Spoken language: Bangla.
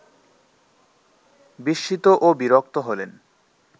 বিস্মিত ও বিরক্ত হলেন